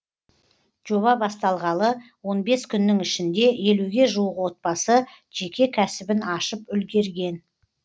жоба басталғалы он бес күннің ішінде елуге жуық отбасы жеке кәсібін ашып үлгерген